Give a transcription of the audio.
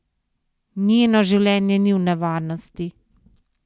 Njeno življenje ni v nevarnosti!